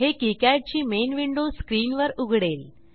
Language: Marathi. हे किकाड ची मेन विंडो स्क्रीनवर उघडेल